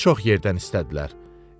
Qızı çox yerdən istədilər.